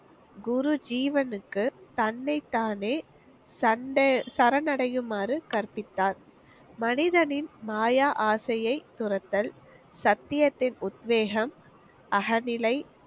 குரு ஜீவனுக்கு தன்னை தானே சண்ட~ சரணடையுமாறு கற்பித்தார். மனிதனின் மாயா ஆசையை துறத்தல், சத்தியத்தின் உத்வேகம், அகநிலை.